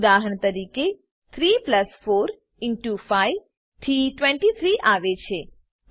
ઉદાહરણ તરીકે 3 4 5 થી 23 આવે છે 35 નહી